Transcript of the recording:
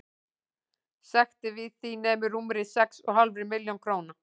Sektin við því nemur rúmri sex og hálfri milljón króna.